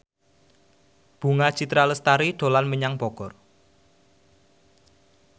Bunga Citra Lestari dolan menyang Bogor